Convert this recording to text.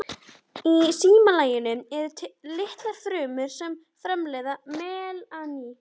Í slímlaginu eru litfrumur sem framleiða melanín.